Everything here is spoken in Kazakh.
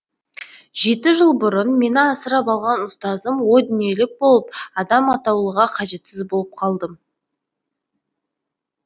жеті жыл бұрын мені асырап алған ұстазым о дүниелік болып адам атаулыға қажетсіз болып қалдым